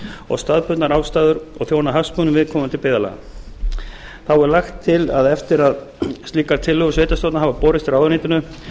og staðbundnar ástæður og þjóna hagsmunum viðkomandi byggðarlaga þá er lagt til að eftir að slíkar tillögur sveitarstjórna hafa borist ráðuneytinu